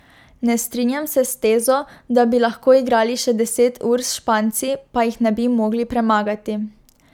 Ne strinjam se s tezo, da bi lahko igrali še deset ur s Španci, pa jih ne bi mogli premagati.